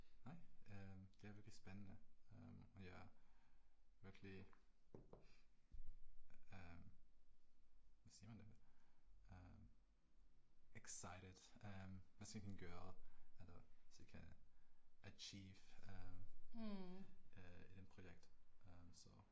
Nej, øh det er virkelig spændende. Det var virkelig. Øh. Hvordan siger man det? Øh excited øh hvad ting kan gøre, eller hvad ting kan achieve øh i den projekt, så